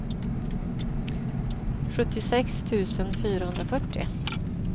sjuttiosex tusen fyrahundrafyrtio